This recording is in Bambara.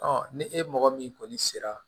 ni e mɔgɔ min kɔni sera